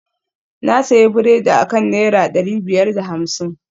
na sayi biredi akan naira dari biyar da hamsin